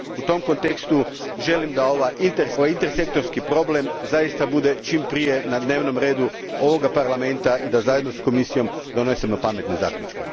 U tom kontekstu, želim da ovaj intersektorski problem zaista bude čim prije na dnevnom redu ovoga Parlamenta i da zajedno s Komisijom donesemo pametne zaključke.